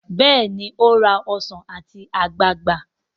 béèni o rà Ọsán ati ogbagba.